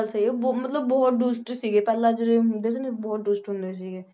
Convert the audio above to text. ਸਹੀ ਹੈ ਬਹੁਤ ਮਤਲਬ ਬਹੁਤ ਦੁਸ਼ਟ ਸੀਗੇ ਪਹਿਲਾਂ ਜਿਹੜੇ ਹੁੰਦੇ ਸੀ ਨਾ ਬਹੁਤ ਦੁਸ਼ਟ ਹੁੰਦੇ ਸੀਗੇ।